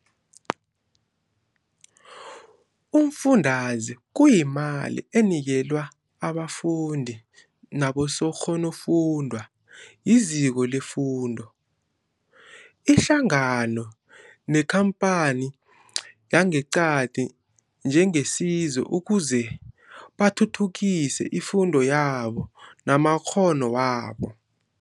Umfundaze kuyimali enikelwa abafundi nabosokghonofundwa yiziko lefundo, ihlangano nekhamphani yangeqadi njengesizo ukuze bathuthukise ifundo yamo namakghono wabo.